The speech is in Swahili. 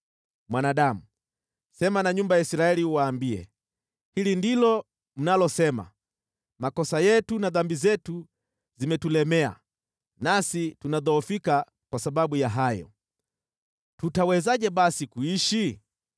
“Mwanadamu, sema na nyumba ya Israeli uwaambie, ‘Hili ndilo mnalosema: “Makosa yetu na dhambi zetu zimetulemea, nasi tunadhoofika kwa sababu ya hayo. Tutawezaje basi kuishi?” ’